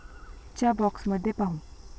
च्या बॉक्समध्ये पाहू